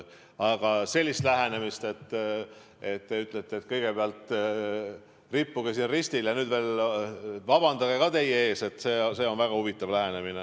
Aga selline lähenemine, et te ütlete, et kõigepealt rippuge ristil ja nüüd veel paluge vabandust ka, on väga huvitav.